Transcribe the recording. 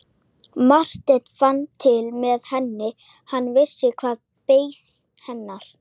Sólveig: Getur þú nefnt mér dæmi?